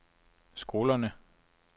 skolerne